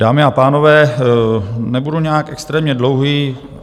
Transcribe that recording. Dámy a pánové, nebudu nějak extrémně dlouhý.